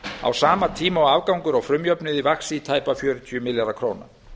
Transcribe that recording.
á sama tíma og afgangur á frumjöfnuði vaxi í tæpa fjörutíu milljarða króna